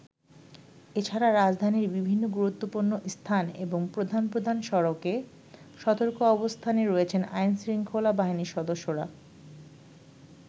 এছাড়া রাজধানীর বিভিন্ন গুরুত্বপূর্ণ স্থান এবং প্রধান প্রধান সড়কে সতর্ক অবস্থানে রয়েছেন আইন-শৃঙ্খলা বাহিনীর সদস্যরা।